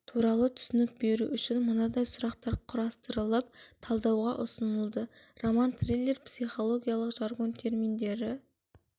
туралы түсінік беру үшін мынадай сұрақтар құрастырылып талдауға ұсынылды роман триллер психологиялық жаргон терминдері